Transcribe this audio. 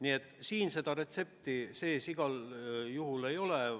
Eelnõus seda retsepti sees igal juhul ei ole.